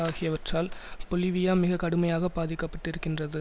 ஆகியவற்றால் பொலிவியா மிக கடுமையாக பாதிக்கப்பட்டிருக்கின்றது